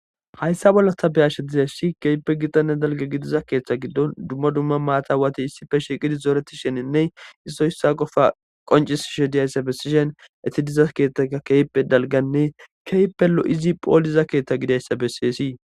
Hayssa bolla ta be'ashe dizayssi keehippe gitanne dalgga gidiza keetha gidon dumma dumma maaxawati issippe shiiqidi zoretishinninne issoy iswa qofa qoncisishe diyayssa besishin eeti diza keethay keehippe dalgganne keehippe lo'izi pholiza keetha gidizayssa besees.